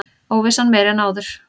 Óvissan meiri en áður